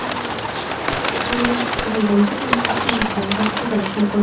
Zarurat tug‘ilganda uni osonlik bilan tozalash mumkin.